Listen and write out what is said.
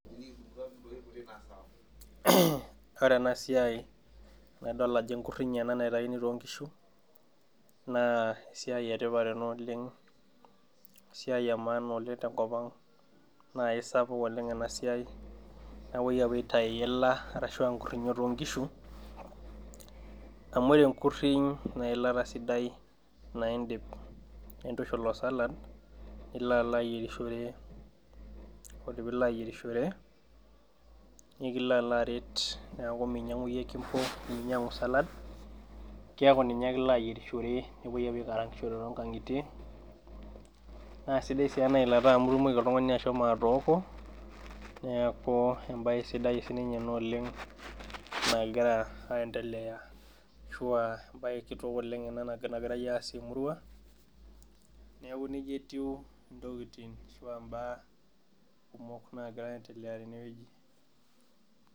Mh ore ena siai nadol ajo enkurriny ena naitaini tonkishu naa esiai etipat ena oleng esiai e maana oleng tenkop ang naa eisapuk oleng ena siai napuoi apuo aitai iila ashua inkurrinyo tonkishu amu ore enkurriny neilata sidai naidim nitushul osalad nilo alo ayierishore ode piilo ayierishore nikilo alo aret niaku minyiang'u iyie kimbo neminyiang'u salad keeku ninye ake ilo ayierishore nepuoi apuo aikarangishore tonkang'itie naa sidai sii ena ilata amu itumoki oltung'ani ashomo atooko neaku embaye sidai sininye ena oleng nagira aendeleya ashua embaye kitok oleng ena nagirae aasie emurua neeku nejia etiu intokitin ashua imbaa kumok nagira aendelea tenewueji.